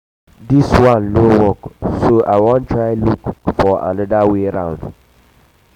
dis one no work so i wan try look wan try look for another way